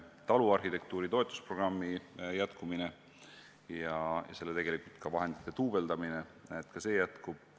Taluarhitektuuri toetusprogrammi jätkumine ja tegelikult selle vahendite duubeldamine.